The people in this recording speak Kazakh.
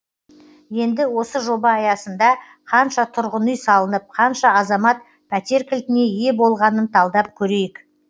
енді осы жоба аясында қанша тұрғын үй салынып қанша азамат пәтер кілтіне ие болғанын талдап көрейік